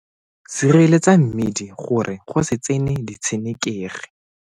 Sireletsa mmidi gore go se tsene ditshenekegi.